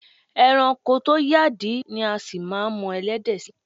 E̩ranko tó yàdí ni a sì máa mo̩ e̩lé̩dè̩ sí.